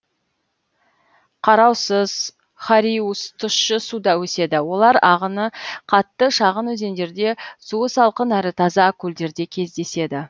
қараусыз хариус тұщы суда өседі олар ағыны қатты шағын өзендерде суы салқын әрі таза көлдерде кездеседі